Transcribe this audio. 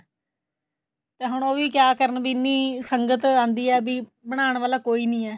ਤੇ ਹੁਣ ਉਹ ਵੀ ਕਿਆ ਕਰਨ ਵੀ ਇੰਨੀ ਸੰਗਤ ਆਂਦੀ ਹੈ ਐ ਵੀ ਬਨਾਣ ਵਾਲਾ ਕੋਈ ਨੀ ਹੈ